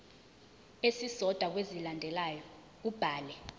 esisodwa kwezilandelayo ubhale